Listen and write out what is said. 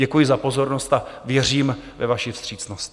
Děkuji za pozornost a věřím ve vaši vstřícnost.